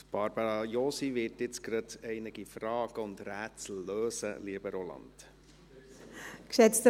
Barbara Josi wird jetzt gleich einige Fragen und Rätsel lösen, lieber Roland Näf.